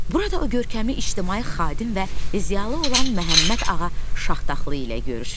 Burada o görkəmli ictimai xadim və ziyalı olan Məhəmməd Ağa Şahtaxtlı ilə görüşür.